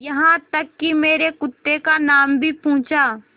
यहाँ तक कि मेरे कुत्ते का नाम भी पूछा